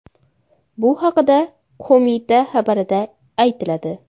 Bu haqda qo‘mita xabarida aytiladi .